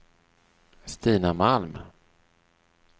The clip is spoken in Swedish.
Stina Malm